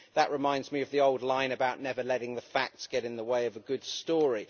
That reminds me of the old line about never letting the facts get in the way of a good story.